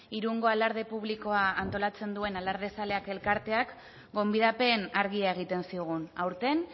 irungo alarde publikoa antolatzen duen alardezaleak elkarteak gonbidapen argia egiten zigun aurten